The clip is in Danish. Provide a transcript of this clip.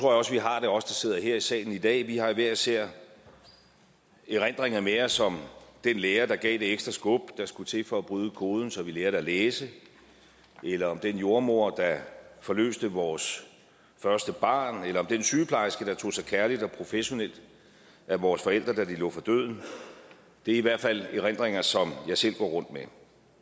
også vi har det os der sidder her i salen i dag vi har hver især erindringer med os om den lærer der gav det ekstra skub der skulle til for at bryde koden så vi lærte at læse eller om den jordemoder der forløste vores første barn eller om den sygeplejerske der tog sig kærligt og professionelt af vores forældre da de lå for døden det er i hvert fald erindringer som jeg selv går rundt med